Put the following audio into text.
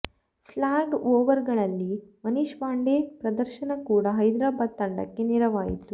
slog ಓವರ್ಗಳಲ್ಲಿ ಮನೀಶ್ ಪಾಂಡೆ ಪ್ರದರ್ಶನ ಕೂಡ ಹೈದರಾಬಾದ್ ತಂಡಕ್ಕೆ ನೆರವಾಯಿತು